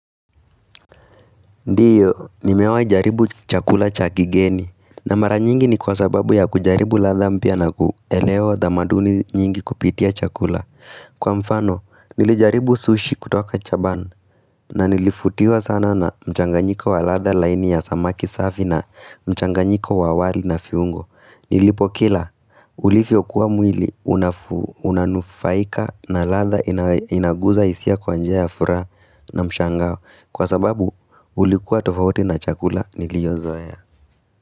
Ndiyo, nimewai jaribu chakula chakigeni, na mara nyingi ni kwa sababu ya kujaribu latha mpia na kuelewa dhamaduni nyingi kupitia chakula. Kwa mfano, nilijaribu sushi kutoka chaban, na nilifutiwa sana na mchanganyiko wa latha laini ya samaki safi na mchanganyiko wa wali na fiungo. Nilipo kila ulifio kuwa mwili unanufaika na latha inaguza isia kwanjea ya fura na mshangao Kwa sababu ulikuwa tofauti na chakula niliozoea.